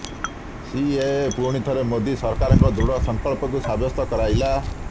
CAA ପୁଣି ଥରେ ମୋଦୀ ସରକାରଙ୍କ ଦୃଢ଼ ସଂକଳ୍ପକୁ ସାବ୍ୟସ୍ତ କରାଇଲା